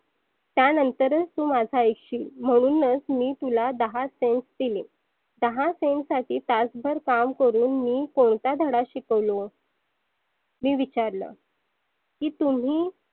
त्यानंतर तु माझ ऐकशील म्हणुनच मी तुला दहा cents दिले. दहा cents साठी तास भर काम करुण मी कोणता धडा शिकवलो मी विचारलं की तुम्ही